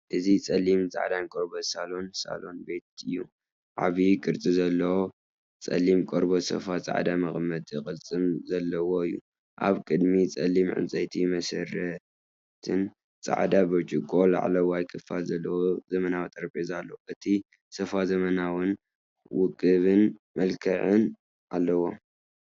እዚ ጸሊምን ጻዕዳን ቆርበት ሳሎን ሳሎን ቤት እዩ። ዓቢ ቅርጺ ዘለዎ ጸሊም ቆርበት ሶፋ ጻዕዳ መቐመጢ ቅልጽምን ዘለዎ እዩ። ኣብ ቅድሚት ጸሊም ዕንጨይቲ መሰረትን ጻዕዳ ብርጭቆ ላዕለዋይ ክፋልን ዘለዎ ዘመናዊ ጠረጴዛ ኣሎ። እቲ ሶፋ ዘመናውን ውቁብን መልክዕ ኣለዎ።